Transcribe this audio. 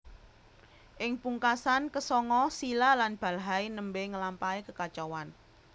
Ing pungkasan ke sanga Silla lan Balhae nembe ngelampahi kekacauan